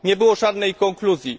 Nie było żadnej konkluzji.